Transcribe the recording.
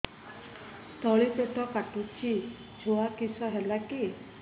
ତଳିପେଟ କାଟୁଚି ଛୁଆ କିଶ ହେଲା କି